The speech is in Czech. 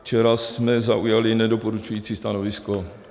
Včera jsme zaujali nedoporučující stanovisko.